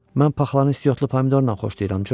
Mən paxlanı istiotlu pomidorla xoşlayıram, Coç.